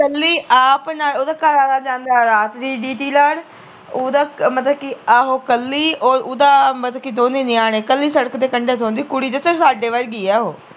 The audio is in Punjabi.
ਕਲੀ ਆਪ ਨਾਲ ਓਹਦਾ ਘਰਵਾਲਾ ਜਾਂਦਾ ਵਾ ਰਾਤ ਦੀ ਡਿਊਟੀ ਲਾਉਣ ਓਹਦਾ ਮਤਲੱਬ ਕਿ ਆਹੋ ਕਲੀ ਓਰ ਓਹਦਾ ਮਤਲਬ ਕਿ ਦੋਨੇ ਨਿਆਣੇ ਕਲੀ ਸੜਕ ਦੇ ਕੰਡੇ ਸੌਂਦੀ ਉਹ ਕੁੜੀ ਦਸਾ ਸਾਡੇ ਵਰਗੀ ਐ ਉਹ